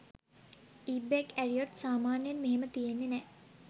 ඉබ්බෙක් ඇරියොත් සාමාන්‍යයෙන් මෙහෙම තියන්නේ නෑ